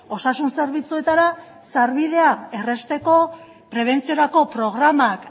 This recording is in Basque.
osasun zerbitzuetara sarbidea errazteko prebentziorako programak